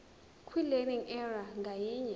kwilearning area ngayinye